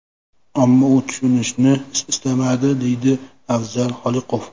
Ammo u tushunishni istamadi”, deydi Afzal Xoliqov.